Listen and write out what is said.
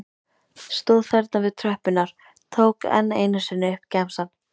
Stóð þarna við tröppurnar, tók enn einu sinni upp gemsann.